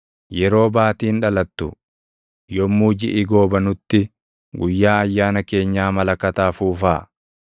Yeroo Baatiin dhalattu, yommuu jiʼi goobanutti, guyyaa ayyaana keenyaa malakata afuufaa;